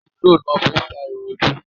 Tíìrò ni wón fi ń fa irun ojú.